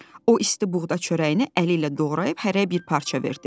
O isti buğda çörəyini əli ilə doğrayıb hərəyə bir parça verdi.